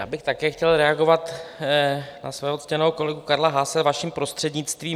Já bych také chtěl reagovat na svého ctěného kolegu Karla Haase, vaším prostřednictvím.